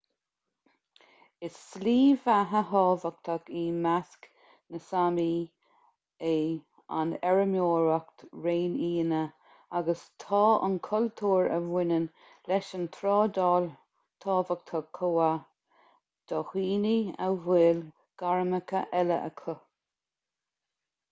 is slí bheatha thábhachtach i measc na sámi é an fheirmeoireacht réinfhianna agus tá an cultúr a bhaineann leis an trádáil tábhachtach chomh maith do dhaoine a bhfuil gairmeacha eile acu